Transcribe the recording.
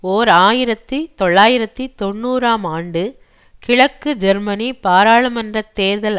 ஓர் ஆயிரத்தி தொள்ளாயிரத்தி தொன்னூறு ஆம் ஆண்டு கிழக்கு ஜெர்மனி பாராளுமன்ற தேர்தல்